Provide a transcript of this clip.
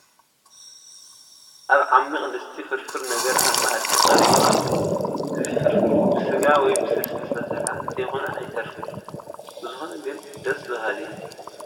ኣብ ዓሚቕ ድስቲ ፍርፍር ነገር ኣብ መኣዲ ቀሪቡ ኣሎ፡፡ እዚ ፍርፍር ብስጋ ወይ ብስልሲ ዝተሰርሐ እንተይኮነ ኣይተርፍን፡፡ ብዝኾነ ግን ደስ በሃሊ እዩ፡፡